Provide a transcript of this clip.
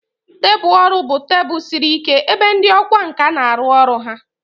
Tebụl ọrụ bụ tebụl siri ike ebe ndị ọkwá nkà na-arụ ọrụ ha.